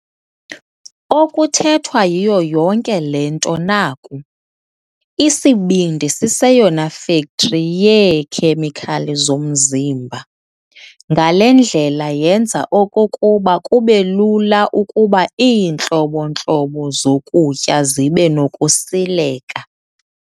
Okuthethwa yiyo yonke le nto naku- Isibindi siyeyona fekthri yeekhemikhali zomzimba. Ngale ndlela yenza okokuba kube lula ukuba iintlobo-ntlobo zokutya zibe zinokusileka.